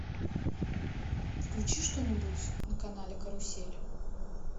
включи что нибудь на канале карусель